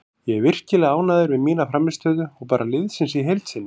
Ég er virkilega ánægður með mína frammistöðu og bara liðsins í heild sinni.